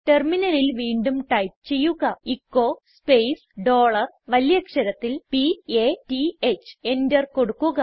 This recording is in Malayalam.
ടെർമിനലിൽ വീണ്ടും ടൈപ്പ് ചെയ്യുക എച്ചോ സ്പേസ് ഡോളർ വലിയ അക്ഷരത്തിൽ p a t ഹ് എന്റർ കൊടുക്കുക